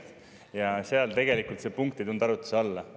Tegelikult see punkt arutluse alla ei tulnud.